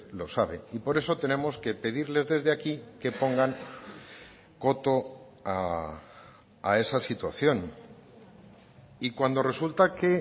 lo sabe y por eso tenemos que pedirles desde aquí que pongan coto a esa situación y cuando resulta que